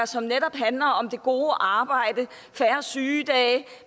som netop handler om det gode arbejde færre sygedage